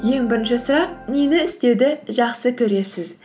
ең бірінші сұрақ нені істеуді жақсы көресіз